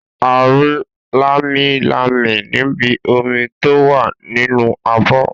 A rí lámilámi níbi omi tó wà nínú abọ́.